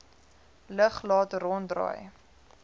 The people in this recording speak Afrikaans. lug laat ronddraai